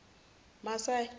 masayi